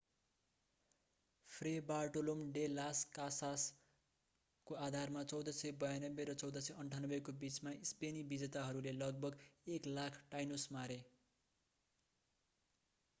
फ्रे Bartolome de las Casas Tratado de las इन्डियासको आधारमा 1492 र 1498को बिचमा स्पेनी विजेताहरूले लगभग 100,000 टाइनोस मारे।